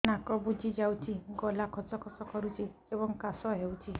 ନାକ ବୁଜି ଯାଉଛି ଗଳା ଖସ ଖସ କରୁଛି ଏବଂ କାଶ ହେଉଛି